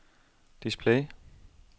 display